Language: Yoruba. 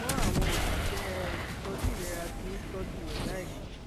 ṣùgbọn àwọn òṣìṣẹ ìtọjú ìlera ti ń tọjú rẹ báyìí